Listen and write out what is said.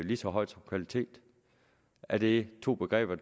lige så højt som kvalitet er det to begreber